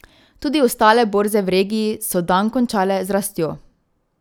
Tudi ostale borze v regiji so dan končale z rastjo.